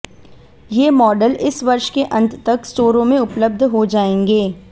ये मॉडल इस वर्ष के अंत तक स्टोरों में उपलब्ध हो जाएंगे